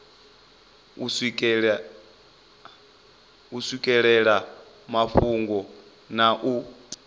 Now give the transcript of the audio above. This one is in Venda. u swikelela mafhungo na u